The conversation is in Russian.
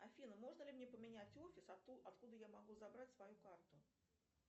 афина можно ли мне поменять офис откуда я могу забрать свою карту